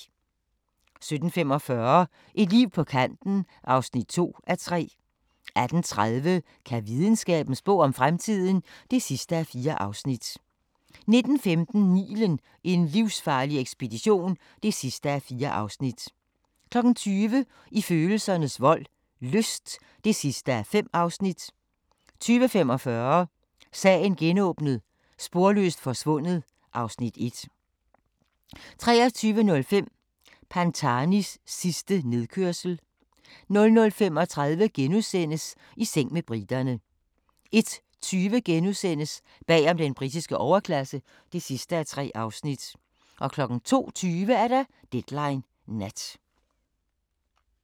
17:45: Et liv på kanten (2:3) 18:30: Kan videnskaben spå om fremtiden? (4:4) 19:15: Nilen: en livsfarlig ekspedition (4:4) 20:00: I følelsernes vold – lyst (5:5) 20:45: Sagen genåbnet: Sporløst forsvundet (Afs. 1) 23:05: Pantanis sidste nedkørsel 00:35: I seng med briterne * 01:20: Bag om den britiske overklasse (3:3)* 02:20: Deadline Nat